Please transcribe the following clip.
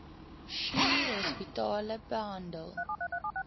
schuur hospitale behandel